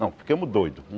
Não, ficamos doidos.